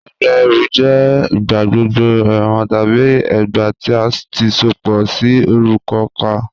Ẹgbá ẹrú jẹ igbàgbọ̀gbọ̀ ẹwọn tabi ẹgbá tí a ti sopọ sí orúkà̀ kàn.